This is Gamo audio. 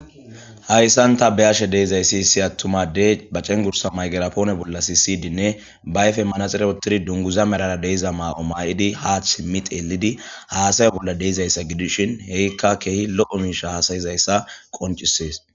Haysan ta be'ashe dizaysi issi atuma adey ba c'engursa maygirapone bola sisidinne ba ayfen manaxire wotidi dunguza merara de'za mayo mayidi ha simi xelidi hasaya bola de'izaysa gidishin ika kehi lo'o misha hasa'izaysa qonc'ises.